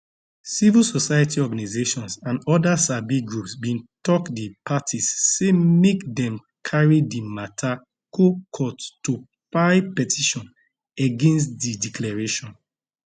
civil society organisations and oda sabi groups bin tok di parties say make dem carry di mata go court to file petition against di declaration